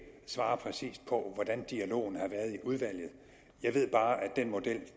svare præcist på hvordan dialogen har været i udvalget jeg ved bare at den model